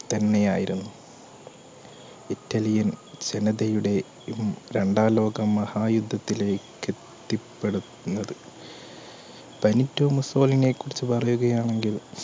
തന്നെയായിരുന്നു Italian ജനതയുടെ രണ്ടാം ലോക മഹായുദ്ധത്തിലേ ക്കെത്തി പ്പെടുത്തുന്നത് ബെനിറ്റോ മുസ്സോളിനിയെ കുറിച് പറയുകയാണെങ്കിൽ